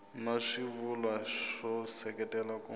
na swivulwa swo seketela ku